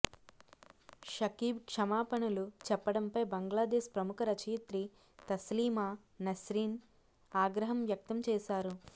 షకీబ్ క్షమాపణలు చెప్పడంపై బంగ్లాదేశ్ ప్రముఖ రచయిత్రి తస్లీమా నస్రీన్ ఆగ్రహం వ్యక్తం చేశారు